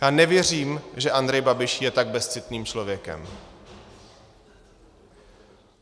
Já nevěřím, že Andrej Babiš je tak bezcitným člověkem.